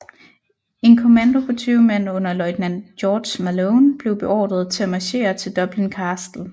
En kommando på tyve mand under løjtnant George Malone blev beordret til at marchere til Dublin Castle